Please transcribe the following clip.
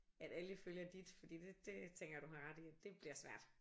At alle følger dit fordi det